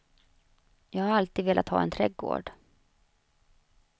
Jag har alltid velat ha en trädgård.